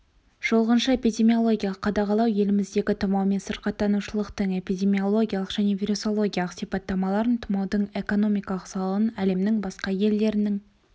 шолғыншы эпидемиологиялық қадағалау еліміздегі тұмаумен сырқаттанушылықтың эпидемиологиялық және вирусологиялық сипаттамаларын тұмаудың экономикалық залалын әлемнің басқа елдерінің